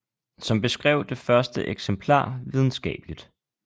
Som beskrev det første eksemplar videnskabeligt